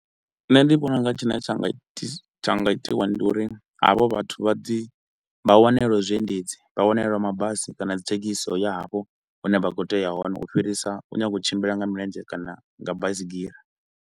Nṋe ndi vhona u nga tshine tsha nga itisa tsha nga itiwa ndi uri havho vhathu vha ḓi vha wanelwe zwiendedzi vha wanelwe mabasi kana dzi thekhisi dza u ya hafho hune vha kho u tea u ya hone u fhirisa u nyaga u tshimbila nga milenzhe kana nga baisigira.